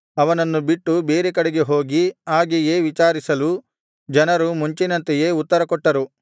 ಅವನನ್ನು ಬಿಟ್ಟು ಬೇರೆ ಕಡೆಗೆ ಹೋಗಿ ಹಾಗೆಯೇ ವಿಚಾರಿಸಲು ಜನರು ಮುಂಚಿನಂತೆಯೇ ಉತ್ತರಕೊಟ್ಟರು